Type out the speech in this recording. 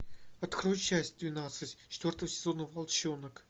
открой часть двенадцать четвертого сезона волчонок